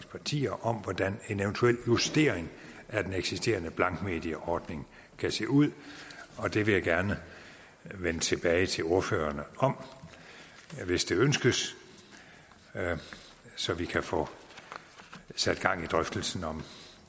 partier om hvordan en eventuel justering af den eksisterende blankmedieordning kan se ud og det vil jeg gerne vende tilbage til ordførerne om hvis det ønskes så vi kan få sat gang i drøftelsen om